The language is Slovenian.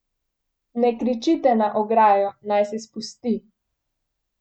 Ne kričite na ograjo, naj se spusti.